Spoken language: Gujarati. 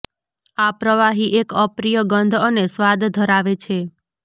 આ પ્રવાહી એક અપ્રિય ગંધ અને સ્વાદ ધરાવે છે